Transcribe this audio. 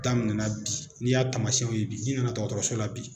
Daminɛna bi, n'i y'a taamasiyɛnw ye bi, n'i nana dɔgɔtɔrɔso la bi.